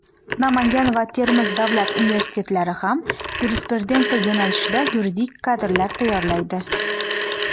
Namangan va Termiz davlat universitetlari ham "yurisprudensiya" yo‘nalishida yuridik kadrlar tayyorlaydi.